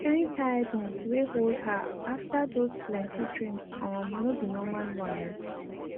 the kind tiredness were hold her after those plenty dreams um no be normlal one o